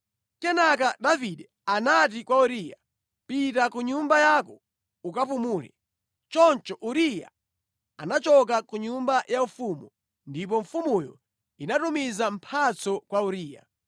Kenaka Davide anati kwa Uriya, “Pita ku nyumba yako ukapumule.” Choncho Uriya anachoka ku nyumba yaufumu, ndipo mfumuyo inatumiza mphatso kwa Uriya.